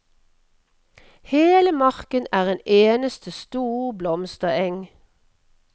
Hele marken er en eneste stor blomstereng.